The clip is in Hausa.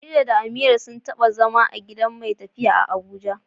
Khadija da Amira sun taba zama a gidan mai tafiya a Abuja.